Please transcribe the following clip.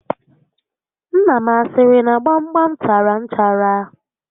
Nna m a siri na gbam gbam tara nchara?